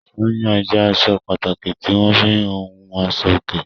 Sányán jẹ́ aṣọ pàtàkì tí wọ́n fi ń hun aṣọòkè.